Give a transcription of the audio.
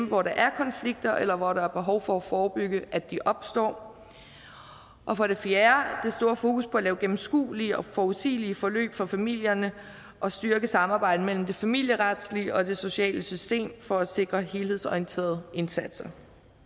hvor der er konflikter eller hvor der er behov for at forebygge at de opstår og for det fjerde det store fokus på at lave gennemskuelige og forudsigelige forløb for familierne og styrke samarbejdet mellem det familieretlige og det sociale system for at sikre helhedsorienterede indsatser